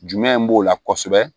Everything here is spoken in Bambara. Jumɛn in b'o la kɔsɛbɛ